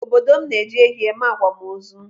Obodo m na-eji ehi eme akwamozu.